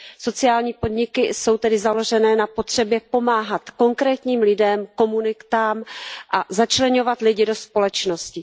Sociální podniky jsou tedy založené na potřebě pomáhat konkrétním lidem, komunitám a začleňovat lidi do společnosti.